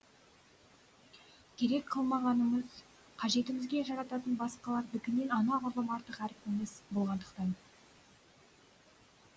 керек қылмағанымыз қажетімізге жарататын басқалардікінен анағұрлым артық әрпіміз болғандықтан